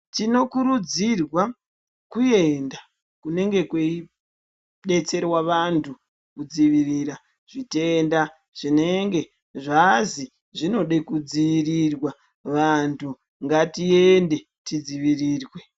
Tinokurudzirwa kuenda kunenge kweidetserwa vantu kudzivirira zvitenda zvinenge zvazi zvinode kudziirirwa, vantu ngatiende tidzivirirwe.